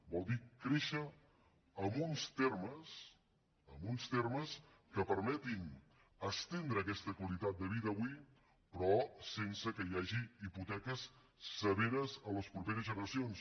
vol dir créixer amb uns termes que permetin estendre aquesta qualitat de vida avui però sense que hi hagi hipoteques severes a les properes generacions